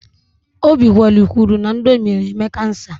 Obikwelu kwuru na Indomi na-eme kansa.